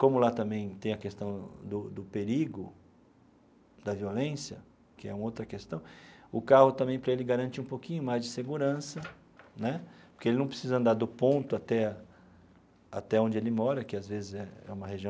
Como lá também tem a questão do do perigo, da violência, que é uma outra questão, o carro também para ele garante um pouquinho mais de segurança né, porque ele não precisa andar do ponto até até onde ele mora, que às vezes é é uma região.